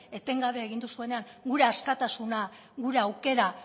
etengabe egin duzuenean gura askatasuna gure aukera